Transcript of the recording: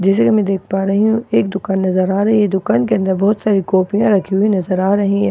जैसे कि मैं देख पा रही हूं एक दुकान नजर आ रही है दुकान के अंदर बहुत सारी कॉफ़िया रखी हुई नज़र आ रही है और पा --